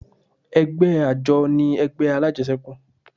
Ẹgbẹ́ àjọ ni ẹgbẹ́ alájẹsẹ́kù